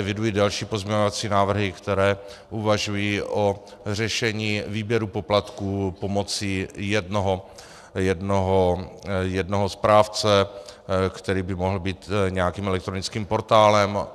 Eviduji další pozměňovací návrhy, které uvažují o řešení výběru poplatků pomocí jednoho správce, který by mohl být nějakým elektronickým portálem.